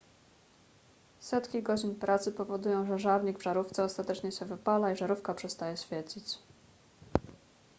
setki godzin pracy powodują że żarnik w żarówce ostatecznie się wypala i żarówka przestaje świecić